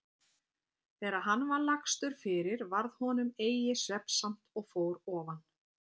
Þegar hann var lagstur fyrir varð honum eigi svefnsamt og fór ofan.